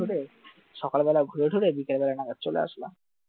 ঠিক করে সকালবেলা ঘুরেটুরে বিকালবেলা না হয়ে চলে আসলাম